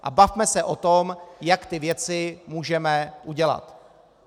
A bavme se o tom, jak ty věci můžeme udělat.